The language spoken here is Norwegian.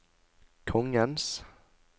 kongens